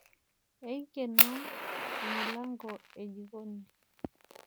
Aikeno emilanko e jikoni.